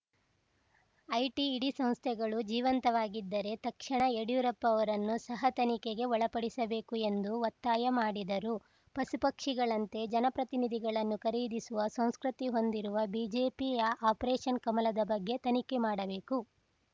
IT ED ಸಂಸ್ಥೆಗಳು ಜೀವಂತವಾಗಿದ್ದರೆ ತಕ್ಷಣ ಯಡಿಯೂರಪ್ಪ ಅವರನ್ನೂ ಸಹ ತನಿಖೆಗೆ ಒಳಪಡಿಸಬೇಕು ಎಂದು ಒತ್ತಾಯ ಮಾಡಿದರು ಪಶುಪಕ್ಷಿಗಳಂತೆ ಜನಪ್ರತಿನಿಧಿಗಳನ್ನು ಖರೀದಿಸುವ ಸಂಸ್ಕೃತಿ ಹೊಂದಿರುವ ಬಿಜೆಪಿಯ ಆಪರೇಷನ್‌ ಕಮಲದ ಬಗ್ಗೆ ತನಿಖೆ ಮಾಡಬೇಕು